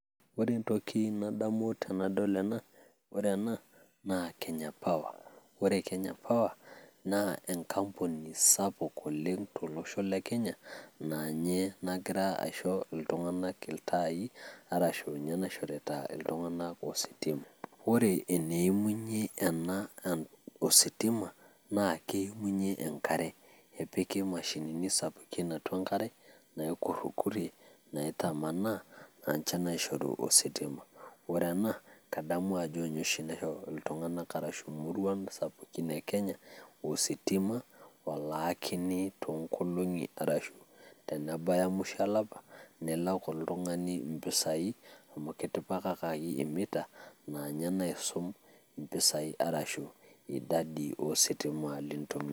Ore entoki nadamu tenadol ena , ore ena naa kenya power ore kenya power naa enkampuni sapuk oleng to losho le kenya naa ninye nagira isho iltung`anak iltaai arashu ninye naishorita iltung`anak ositima ore eneimunyie ena e ositima naa keimunyie enkaree nepiki mashinini sapukini atua enkare naa naikurikurie naitamanaa naa ninche naishoru ositim. ore ena kadamu ajo ninye oshi naisho iltung`ana arashu imoruan sapukin e kenya ositima olaakini too nkolong`i arashu tenebaiya musho olapa nilak oltung`ani mpisai amu kitipikakaki e meter naa ninye naisum mpisai arashu idadi oositima nintumiya.